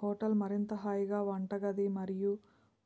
hotel మరింత హాయిగా వంటగది మరియు